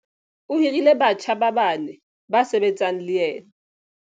O hirile batjha ba bane ba sebetsang le yena.